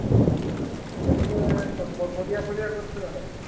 ଓହୋ! କେତେ ପରିବା ଫରିବା କରିଥିଲ ନା କେତେ?